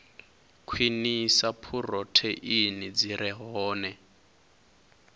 khwinisa phurotheini dzi re hone